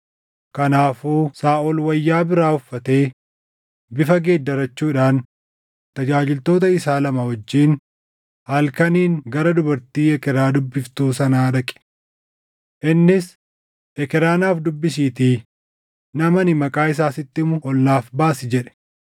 Kanaafuu Saaʼol wayyaa biraa uffatee bifa geeddarachuudhaan tajaajiltoota isaa lama wajjin halkaniin gara dubartii ekeraa dubbiftuu sanaa dhaqe. Innis, “Ekeraa naaf dubbisiitii nama ani maqaa isaa sitti himu ol naaf baasi” jedhe.